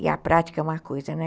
E a prática é uma coisa, né?